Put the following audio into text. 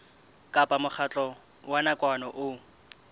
kapa mokgatlo wa nakwana o